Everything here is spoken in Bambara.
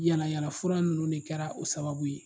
Yaala yaala fura ninnu de kɛra o sababu ye.